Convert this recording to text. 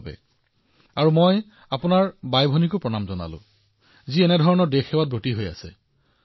আৰু মই ভাবো এনে পিতৃমাতৃকো প্ৰণাম আৰু আপোনালোক সকলো ভগ্নীকো প্ৰণাম যিয়ে এই কাম কৰাৰ আৰু দেশক সেৱা কৰাৰ দায়িত্ব পালন কৰিছে